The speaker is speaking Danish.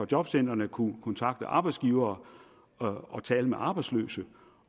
jobcentrene kunne kontakte arbejdsgivere og tale med arbejdsløse